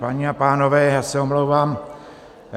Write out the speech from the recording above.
Paní a pánové, já se omlouvám.